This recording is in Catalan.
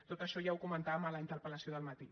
tot això ja ho comentàvem a la interpel·lació del matí